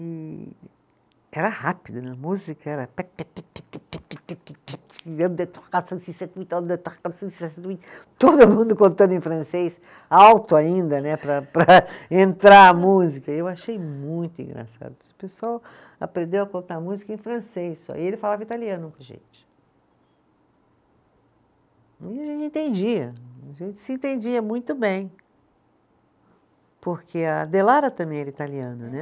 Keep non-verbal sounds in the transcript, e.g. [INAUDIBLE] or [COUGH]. E era rápido né, a música era [UNINTELLIGIBLE] todo mundo contando em francês, alto ainda né, para para, entrar a música, eu achei muito engraçado o pessoal aprendeu a contar a música em francês só, e ele falava italiano com a gente e a gente entendia, a gente se entendia muito bem porque a Delara também era italiana, né